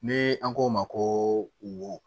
Ni an k'o ma ko wo